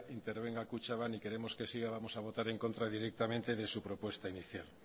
intervenga kutxabank y queremos que siga vamos a votar en contra directamente de su propuesta inicial